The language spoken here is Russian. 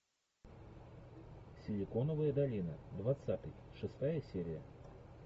силиконовая долина двадцатый шестая серия